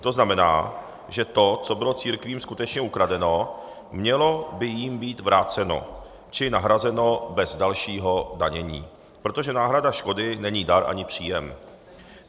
To znamená, že to, co bylo církvím skutečně ukradeno, mělo by jim být vráceno či nahrazeno bez dalšího danění, protože náhrada škody není dar ani příjem.